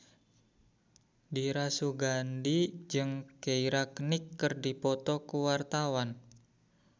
Dira Sugandi jeung Keira Knightley keur dipoto ku wartawan